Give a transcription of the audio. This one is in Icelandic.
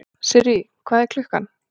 Sirrý, hvað er klukkan?